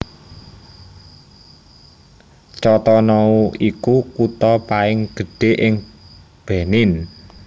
Cotonou iku kutha paing gedhé ing Benin